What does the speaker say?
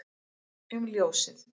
um ljósið